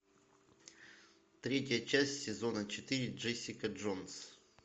третья часть сезона четыре джессика джонс